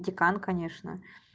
декан конечно